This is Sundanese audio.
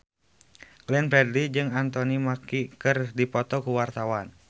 Glenn Fredly jeung Anthony Mackie keur dipoto ku wartawan